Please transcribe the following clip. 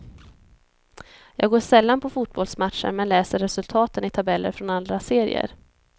Jag går sällan på fotbollsmatcher men läser resultaten i tabeller från alla serier.